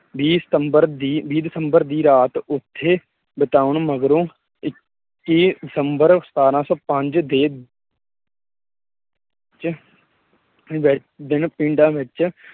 ਵੀਹ ਸਤੰਬਰ ਵੀਹ ਦਸੰਬਰ ਦੀ ਰਾਤ ਉਥੇ ਬਿਤਾਉਣ ਮਗਰੋਂ ਦਸੰਬਰ ਸਤਾਰਾਂ ਸੌ ਪੰਜ ਦੇ ਚ ਦਿਨ ਪਿੰਡਾਂ ਵਿਚ